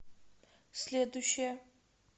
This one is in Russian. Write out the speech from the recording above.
следующая